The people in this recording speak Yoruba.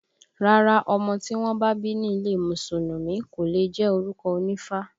Rárá, ọmọ tí wọ́n bá bí ní ilé Mùsùlùmí kò leè jẹ́ orúkọ onífá